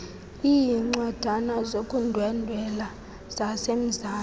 iincwadana zokundwendwela zasemzantsi